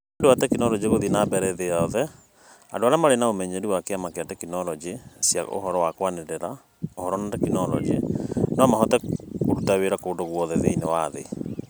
Nĩ ũndũ wa tekinoronjĩ gũthiĩ na mbere thĩ yothe, andũ arĩa marĩ na ũmenyeru wa Kĩama kĩa Tekinoronjĩ cia ũhoro wa kũaranĩrĩa (Ũhoro na Teknoroji) no mahote kũruta wĩra kũndũ guothe thĩinĩ wa thĩ.